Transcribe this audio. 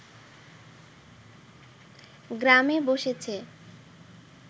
গ্রামে বসেছে